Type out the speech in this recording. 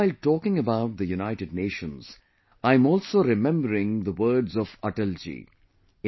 today while talking about the United Nations I'm also remembering the words of Atal ji